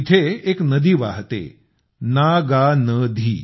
इथे एक नदी वाहते नागानधी